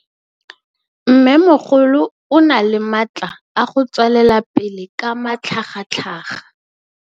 Mmêmogolo o na le matla a go tswelela pele ka matlhagatlhaga.